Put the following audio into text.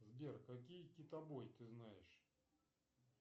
сбер какие китобои ты знаешь